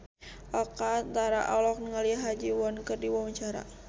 Oka Antara olohok ningali Ha Ji Won keur diwawancara